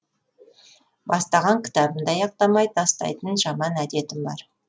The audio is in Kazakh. бастаған кітабымды аяқтамай тастайтын жаман әдетім бар